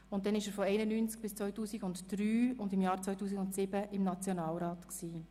Von 1991 bis 2003 und im Jahr 2007 gehörte er dem Nationalrat an.